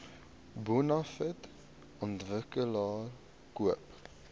bonafide ontwikkelaar koop